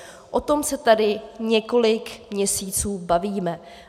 O tom se tady několik měsíců bavíme.